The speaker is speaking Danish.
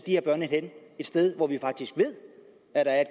her børn et sted hvor vi faktisk ved at der er